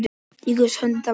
Í Guðs höndum